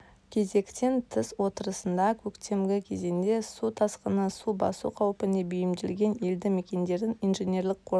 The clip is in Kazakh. кезектен тыс отырысында көктемгі кезеңде су тасқыны су басу қаупіне бейімделген елді мекендерін инженерлік қорғау